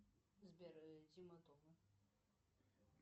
сбер тима тома